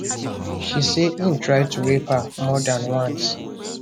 she say im try to rape her more dan once